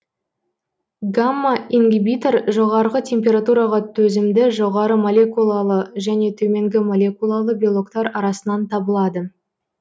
гамма ингибитор жоғарғы температураға төзімді жоғары молекулалы және төменгі молекулалы белоктар арасынан табылады